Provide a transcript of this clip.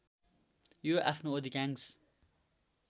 यो आफ्नो अधिकांश